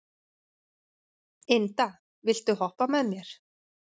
Inda, viltu hoppa með mér?